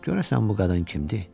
Görəsən bu qadın kimdir?